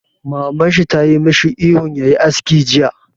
Maman shi tayi mashi ihun ya yi aski jiya!